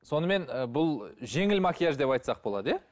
сонымен ы бұл жеңіл макияж деп айтсақ болады иә